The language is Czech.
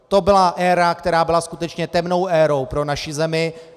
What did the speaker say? To byla éra, která byla skutečně temnou érou pro naši zemi.